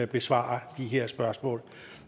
besvare de her spørgsmål